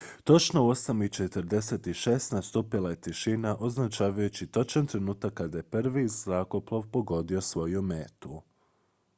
točno u 8:46 nastupila je tišina označavajući točan trenutak kada je prvi zrakoplov pogodio svoju metu